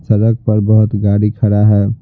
सड़क पर बहुत गाड़ी खड़ा है।